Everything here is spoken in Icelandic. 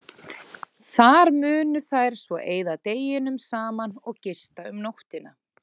Þar munu þær svo eyða deginum saman og gista um nóttina.